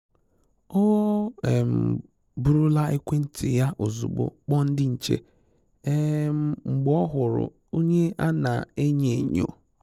Ọ́ um bụ̀rụ̀ là ékwéntị́ yá ozùgbo kpọ̀ọ ndị́ nchè um mgbe ọ́ hụ̀rụ̀ ónyé a na enyo-enyo.